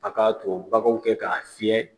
A k'a to baganw kɛ k'a fiyɛ